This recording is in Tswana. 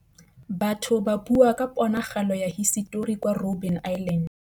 Batho ba bua ka ponagalô ya hisetori kwa Robin Island.